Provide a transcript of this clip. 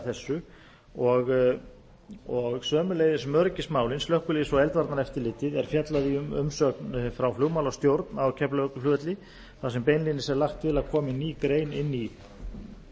vikið að þessu og sömuleiðis um öryggismálin slökkviliðs og eldvarnaeftirlitið er fjallað um í umsögn frá flugmálastjórn á keflavíkurflugvelli þar sem beinlínis er lagt til að komi ný grein inn í